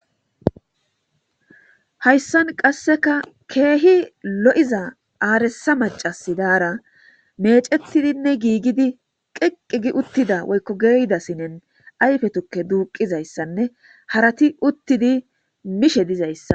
Haysdan qassekka keehi lo7iza aaressa mac'c'assi daara meec'ettidi geeyida sinen ayfe tukke duuqqizayssanne harati uttidayssa bessees.